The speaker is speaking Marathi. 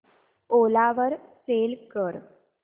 ओला वर सेल कर